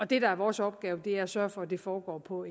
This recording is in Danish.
det der er vores opgave er at sørge for at det foregår på